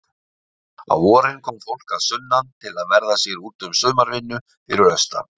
Á vorin kom fólk að sunnan til að verða sér úti um sumarvinnu fyrir austan.